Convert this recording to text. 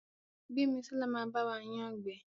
Gbemisola má ba wa yán gbé.